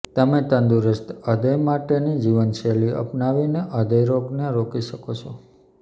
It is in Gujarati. તમે તંદુરસ્ત હૃદય માટેની જીવનશૈલી અપનાવીને હૃદય રોગને રોકી શકો છો